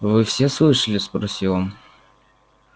вы все слышали спросил он